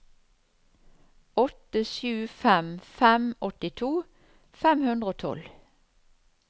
åtte sju fem fem åttito fem hundre og tolv